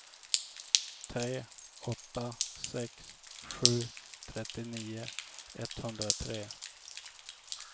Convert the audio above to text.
tre åtta sex sju trettionio etthundratre